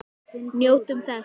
Njótum þess.